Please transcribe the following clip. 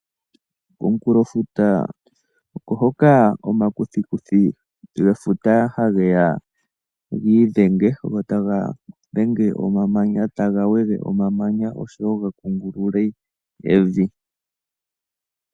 Komukunkulofuta oko hoka omakuthikuthi gwefuta hage ya gi idhenge go taga dhenge omamanya taga wege omamanya oshowo ga kungulule evi.